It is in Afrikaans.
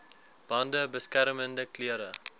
bande beskermende klere